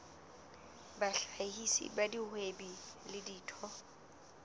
bahlahisi ba bahwebi le ditho